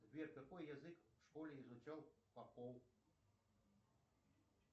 сбер какой язык в школе изучал попов